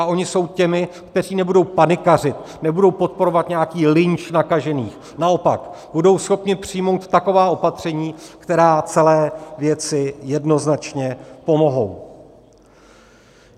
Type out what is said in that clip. A oni jsou těmi, kteří nebudou panikařit, nebudou podporovat nějaký lynč nakažených, naopak, budou schopni přijmout taková opatření, která celé věci jednoznačně pomohou.